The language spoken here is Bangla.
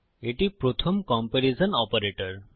এটি প্রথম কম্পেরিজন অপারেটর